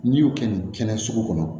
N'i y'o kɛ nin kɛnɛ sugu kɔnɔ